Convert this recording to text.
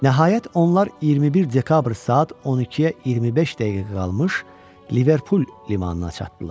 Nəhayət onlar 21 dekabr saat 12-yə 25 dəqiqə qalmış Liverpul limanına çatdılar.